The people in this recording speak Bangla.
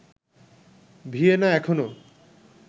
ভিয়েনা এখনও